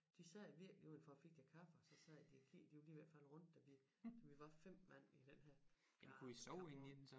De sad virkelig udenfor og fik lidt kaffe og så sad de og kiggede de var lige ved at falde rundt da vi da vi var 5 mand i den her gamle campingvogn